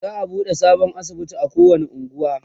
za'a buɗe sabon asibiti a kowani unguwa